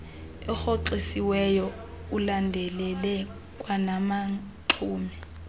erhoxisiweyo ulandelele kwanabaxumi